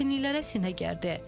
Çətinliklərə sinə gərdi.